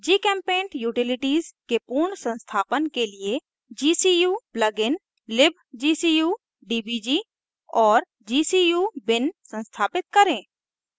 gchempaint utilities के पूर्ण संस्थापन के लिए gcuplugin libgcudbg और gcubin संस्थापित करें